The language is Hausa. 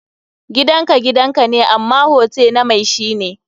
Gidan ka gidan ka ne, amma hote na mai shi ne.